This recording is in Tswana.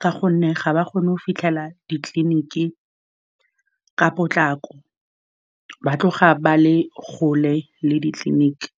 ka gonne ga ba kgone go fitlhelela ditleliniki ka potlako, ba a tloga ba le kgole le ditleliniki.